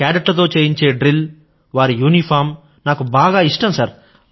C cadet లతో చేయించే drill వారి యూనిఫారమ్ నాకు బాగా ఇష్టం సర్